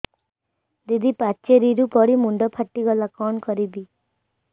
ଦିଦି ପାଚେରୀରୁ ପଡି ମୁଣ୍ଡ ଫାଟିଗଲା କଣ କରିବି